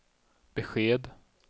besked